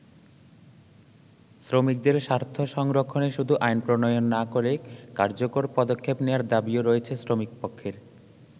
শ্রমিকদের স্বার্থ সংরক্ষণে শুধু আইন প্রণয়ন না করে কার্যকর পদক্ষেপ নেয়ার দাবীও রয়েছে শ্রমিকপক্ষের।